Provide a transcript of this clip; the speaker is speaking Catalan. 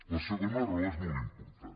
la segona raó és molt important